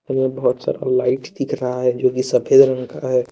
उधर बहुत सारा लाइट दिख रहा है जो की सफेद रंग का है।